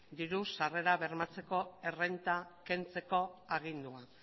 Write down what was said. diru sarrera bermatzeko errenta kentzeko agindua